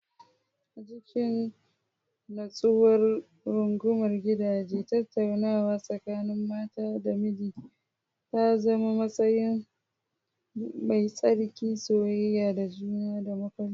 A cikin nutsuwar rungumar gidaje, tattaunawa tsakanin mata da miji ta zama musanya mai tsarki, soyayya da juna da mafarkai.